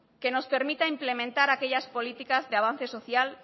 que nos permita implementar aquellas políticas de avance social